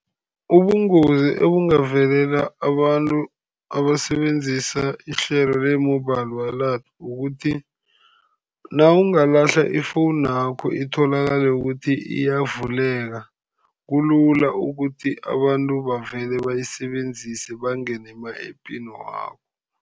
Ubungozi obungavelela abantu abasebenzisa ihlelo le-mobile wallet kukuthi nawungalahla ifowunakho, itholakale ukuthi iyavuleka, kulula ukuthi abantu bavele bayisebenzise, bangene ema-ephini wakho.